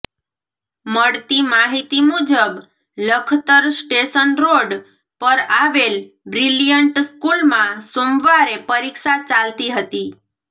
મળતી માહિતી મુજબ લખતર સ્ટેશન રોડ પર આવેલ બ્રિલિયન્ટ સ્કૂલમાં સોમવારે પરીક્ષા ચાલતી હતી